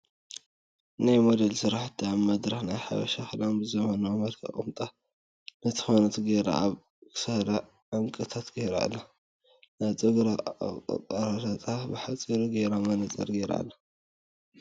ናይ ሞዴል ስራሕቲ ኣብ መድረክ ናይ ሓበሻ ክዳን ብ ዘመናዊ መልክዕ ቁምጣ ን ኮትን ጌራ ኣብ ክሳዳ ዕንቂታት ጌራ ኣላ ናይ ፀጉራ አቆራርፃ ብሓፂሩ ጌራ መነፅር ጌራ ኣላ ።